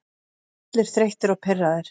Allir þreyttir og pirraðir.